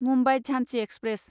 Mumbai Jhansi express